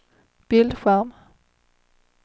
bildskärm